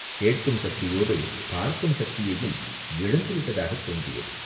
கேட்கும் சக்தியோடும் பார்க்கும் சக்தியையும் இழந்துவிட்டதாகத் தோன்றியது.